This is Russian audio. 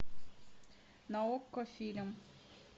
на окко фильм